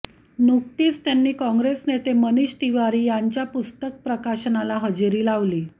नुकतीच त्यांनी काँग्रेस नेते मनिष तिवारी यांच्या पुस्तक प्रकाशनाला हजेरी लावली